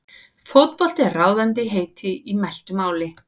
Fótbolti er ráðandi heiti í mæltu máli.